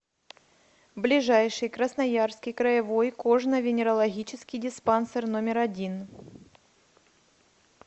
ближайший красноярский краевой кожно венерологический диспансер номер один